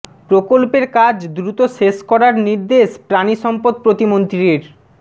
প্রকল্পের কাজ দ্রুত শেষ করার নির্দেশ পানি সম্পদ প্রতিমন্ত্রীর